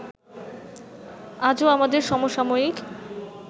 আজও আমাদের সমসাময়িক